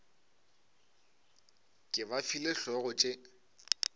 ke ba file hlogo tše